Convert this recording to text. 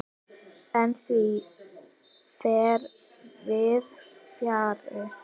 En því fer víðs fjarri.